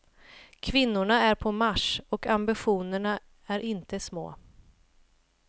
Kvinnorna är på marsch, och ambitionerna är inte små.